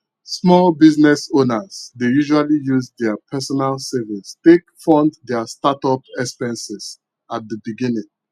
small business owners dey usually use their personal savings take fund their startup expenses at the beginning